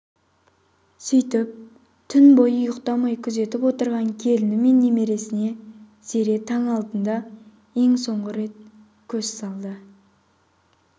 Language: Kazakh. сүйтіп түн бойы ұйықтамай күзетіп отырған келіні мен немересіне зере таң алдында ең соңғы рет көз салды